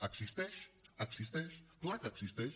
existeix existeix clar que existeix